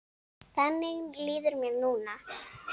Þannig líður mér núna.